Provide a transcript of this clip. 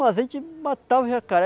Mas a gente matava o jacaré,